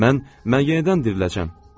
Mən, mən yenidən diriləcəyəm.